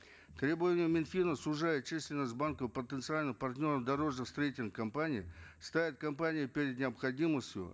требования минфина сужают численность банков потенциальных партнеров дорожно строительных компаний ставят компании перед необходимостью